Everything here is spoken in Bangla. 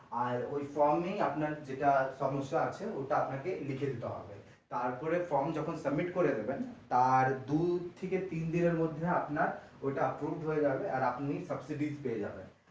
আর ওই form এ যেটা আপনার সমস্যা আছে ওটা আপনাকে লিখে দিতে হবে তারপরে form যখন submit করে দেবেন তার দু থেকে তিন দিনের মধ্যে ওইটা upload হয়ে যাবেআর আপনি subsidy পেয়ে যাবেন।